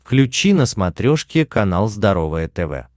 включи на смотрешке канал здоровое тв